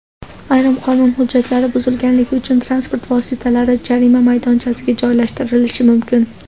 Ayrim qonun hujjatlari buzilganligi uchun transport vositalari jarima maydonchasiga joylashtirilishi mumkin.